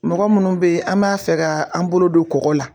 Mɔgɔ munnu bɛ yen, an b'a fɛ ka an bolo don kɔgɔ la.